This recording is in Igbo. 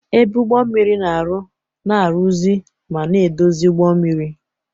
Ebe Ụgbọ mmiri na-arụ, na-arụzi ma na-edozi ụgbọ mmiri.